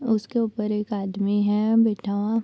उसके ऊपर एक आदमी है बैठा हुआ।